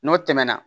N'o tɛmɛna